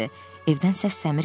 Evdən səs-səmir gəlmirdi.